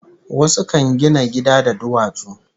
Wasu kan gina gida da duwatsu